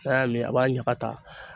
N'a y'a min a b'a ɲaga ta